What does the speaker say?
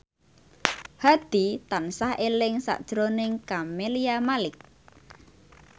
Hadi tansah eling sakjroning Camelia Malik